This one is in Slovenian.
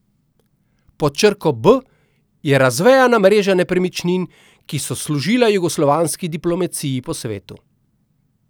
Pod črko B je razvejana mreža nepremičnin, ki so služila jugoslovanski diplomaciji po svetu.